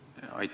Aitäh!